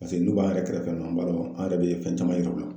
Paseke n'u b'an yɛrɛ kɛrɛfɛ yan n b'a dɔn an yɛrɛ bɛ fɛn caman yira u la.